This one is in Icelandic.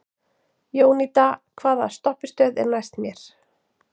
Jónída, hvaða stoppistöð er næst mér?